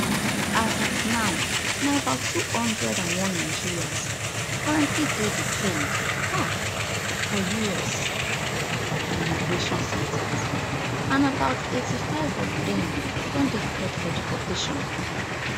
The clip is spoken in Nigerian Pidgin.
as at now na about two hundred and one nigerians currently dey detained um for us immigration centres and about eighty-five of dem don dey cleared for deportation